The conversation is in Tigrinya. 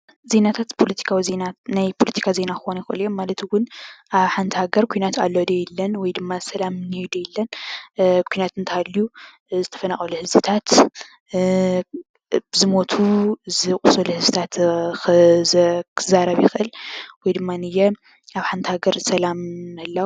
ዜናታት ናይ ፖለቲካ ዜና ክኮኑ ይክእሉ እዮም። ማለት እውን ኣብ ሓንቲ ሃገር ኩናት ኣሎ ድዩ የለን ?ወይ ድማ ሰላም እኒሀ ዶ የለን? ኩናት እንተሃሊዩ ዝተፈናቀሉ ህዝብታት፣ ዝሞቱ ፣ዝቆሰሉ ህዝብታት ክዛረብ ይኽእል። ወይድማ ኣብ ሓንቲ ሃገር ሰላም ምህላው